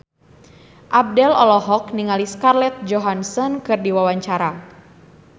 Abdel olohok ningali Scarlett Johansson keur diwawancara